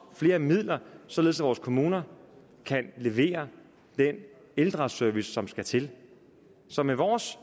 flere midler således at vores kommuner kan levere den ældreservice som skal til så med vores